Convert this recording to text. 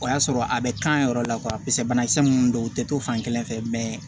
O y'a sɔrɔ a bɛ kan yɔrɔ la banakisɛ minnu don u tɛ to fan kelen fɛ